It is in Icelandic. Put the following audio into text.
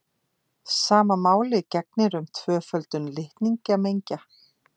Sama máli gegnir um tvöföldun litningamengja.